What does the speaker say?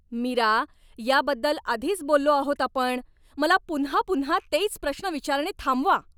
मीरा, याबद्दल आधीच बोललो आहोत आपण! मला पुन्हा पुन्हा तेच प्रश्न विचारणे थांबवा.